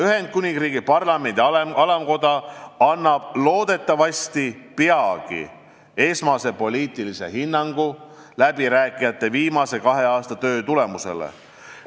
Ühendkuningriigi parlamendi alamkoda annab loodetavasti peagi esmase poliitilise hinnangu läbirääkijate viimase kahe aasta töö tulemusele.